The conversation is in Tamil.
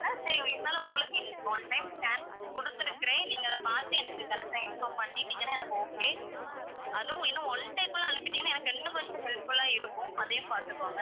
சரி இருந்தாலும் உங்களுக்கு one time chance குடுத்திருக்கிறேன் நீங்க அத பாத்து எனக்கு correct டா inform பண்ணிட்டீங்கன்னா எனக்கு okay, அதுவும் இன்னும் one day குள்ள அனுப்பிட்டீங்கன்னா எனக்கு இன்னும் கொஞ்சம் helpful லா இருக்கும் அதையும் பாத்துக்கோங்க.